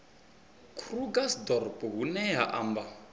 krugersdorp hu ne ha amba